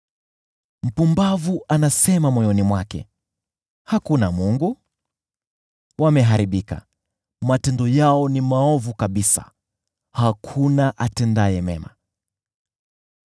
Mpumbavu anasema moyoni mwake, “Hakuna Mungu.” Wameharibika, matendo yao ni maovu kabisa; hakuna hata mmoja atendaye mema.